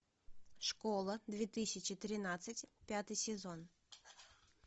школа две тысячи тринадцать пятый сезон